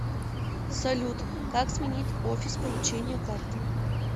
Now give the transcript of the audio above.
салют как сменить офис получения карты